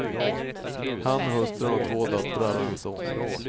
Han och hustrun har två döttrar och en son.